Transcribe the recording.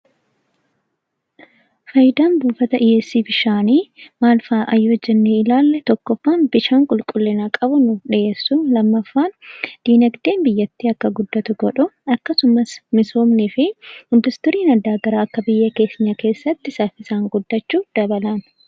Faayidaan buufata dhiyeessii bishaanii "maal faadha?" yoo jennee ilaalle, tokkoffaan bishaan qulqullina qabu nuuf dhiyeessuu, lammaffaan dinagdeen biyyattii akka guddatu godhuu akkasumas misoomnii fi industiriin gara garaa akka biyya keenya keessatti saffisaan guddachuu dabala.